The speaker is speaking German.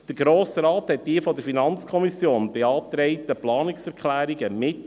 Der Grosse Rat trug die von der FiKo beantragten Planungserklärungen mit.